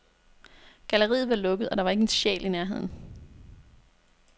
Galleriet var lukket, og der var ikke en sjæl i nærheden.